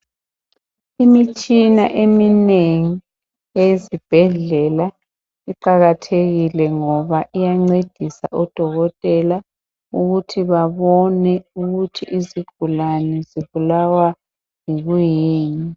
Imitshina eminengi eyesibhedlela iqakathekile ngoba iyancedisa odokotela ukuthi babone ukuthi izigulane zibulawa kuyini